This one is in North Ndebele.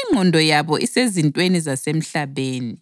Ingqondo yabo isezintweni zasemhlabeni.